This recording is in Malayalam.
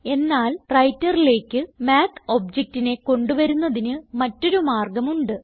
എന്നാൽ വ്രൈട്ടർ ലേക്ക് മാത്ത് ഒബ്ജക്ട് നെ കൊണ്ട് വരുന്നതിന് മറ്റൊരു മാർഗം ഉണ്ട്